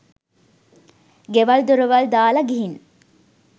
ගෙවල් දොරවල් දාලා ගිහින්